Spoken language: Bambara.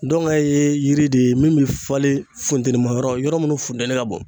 Dɔnkɛ ye yiri de ye min bɛ falen funtɛnima yɔrɔ yɔrɔ minnu funtɛni ka bon.